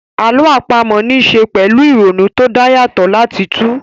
Àlọ́ àpamọ́ ní ṣe pẹ̀lú ìrònú tó dá yàtọ̀ láti túu